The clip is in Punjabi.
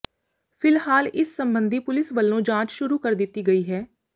ਫਿਲਹਾਲ ਇਸ ਸੰਬੰਧੀ ਪੁਲਿਸ ਵੱਲੋਂ ਜਾਂਚ ਸ਼ੁਰੂ ਕਰ ਦਿੱਤੀ ਗਈ ਹੈ